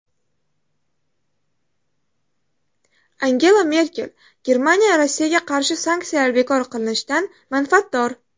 Angela Merkel: Germaniya Rossiyaga qarshi sanksiyalar bekor qilinishidan manfaatdor.